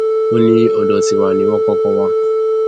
ó ní ọdọ tiwa ni wọn kọkọ wà